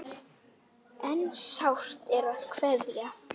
En sárt er að kveðja.